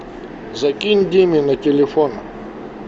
закинь диме на телефон